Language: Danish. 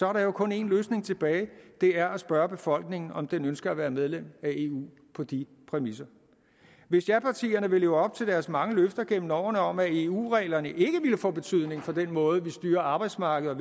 er der jo kun én løsning tilbage og det er at spørge befolkningen om den ønsker at være medlem af eu på de præmisser hvis japartierne vil leve op til deres mange løfter gennem årene om at eu reglerne ikke ville få betydning for den måde vi styrer arbejdsmarkedet